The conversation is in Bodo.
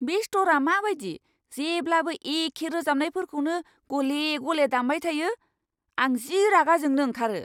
बे स्ट'रआ माबायदि जेब्लाबो एखे रोजाबनायफोरखौनो गले गले दामबाय थायो, आं जि रागा जोंनो ओंखारो।